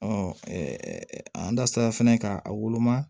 an da sera fɛnɛ ka a woloma